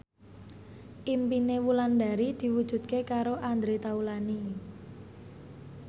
impine Wulandari diwujudke karo Andre Taulany